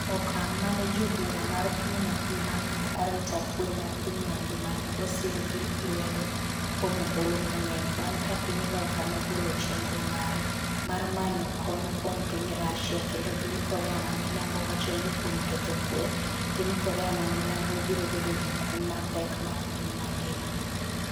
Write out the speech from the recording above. Okang’ mane jobura mar piny mangima mag arita kwe mar piny mangima ne osir gi lwedo kuom ombulu mang'eny bang’ ka piny Loka nogolo chenro mare mar manyo kony kuom piny Russia kendo piny Korea ma milambo wacho ni kuom ketho kuwe, piny Korea ma milambo biro bedo gi kum mapek mag piny mangima.